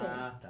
Ah, tá.